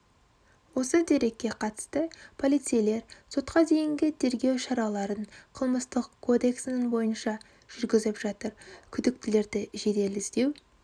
осы дерекке қатысты полицейлер сотқа дейінгі тергеу шараларын қылмыстық кодексінің бойынша жүргізіп жатыр күдіктілерді жедел іздеу